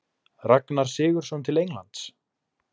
Ragnar Sigurðsson til Englands?